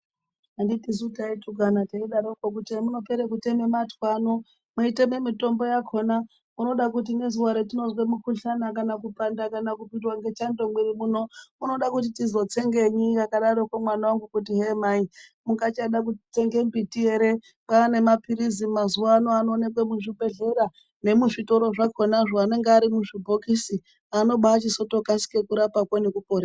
Anditi tisuu taitukana teidaroko kuti hemuno pere kuteme matwa ano mweiteme mitombo yakona munoda kuti nezuwa retinozwe mikhuhlana kana kupanda ,kana kupiandwa nechando mumwiri muno, unoda kuti tizotsengenyi akadaroko mwana wangu kuti hee mai mungachade kutsenge mbiti ere kwaane mapilizi mazuwa ano anowonekwe muzvibhehleya nemuzvitoro zvakonazvo anonga ari muzvibhokisi anoba achizote kasike kurapako nekuporesa.